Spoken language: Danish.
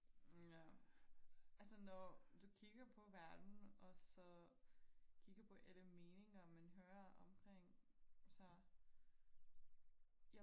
ja altså når du kigger på verden og så kigger på alle meninger man hører omkring sig